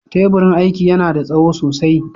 Teburin aiki yana da tsawo sosai.